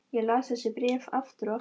Ég las þessi bréf aftur og aftur.